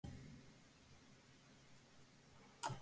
Með fyrir fram þökk.